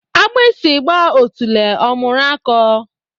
Agbusi gba otule, ọ mụrụ akọ